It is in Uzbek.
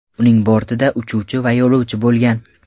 Uning bortida uchuvchi va yo‘lovchi bo‘lgan.